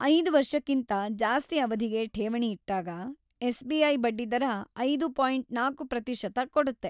ಐದು ವರ್ಷಕಿಂತಾ‌ ಜಾಸ್ತಿ ಅವಧಿಗೆ ಠೇವಣಿ ಇಟ್ಟಾಗ ಎಸ್‌.ಬಿ.ಐ. ಬಡ್ಡಿದರ ಐದು ಪಾಯಿಂಟ್ ನಾಲ್ಕು ಪ್ರತಿಶತ ಕೊಡುತ್ತೆ.